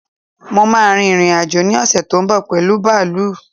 Mo máà ń rin ìrìn-àjò ní ọ̀ṣè tó ń bọ̀ pẹ̀lu bààlú